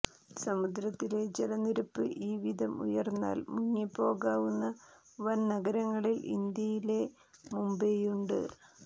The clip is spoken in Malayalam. സമുദ്രത്തിലെ ജലനിരപ്പ് ഈ വിധം ഉയർന്നാൽ മുങ്ങിപ്പോകാവുന്ന വൻ നഗരങ്ങളിൽ ഇന്ത്യയിലെ മുംബൈയുമുണ്ട്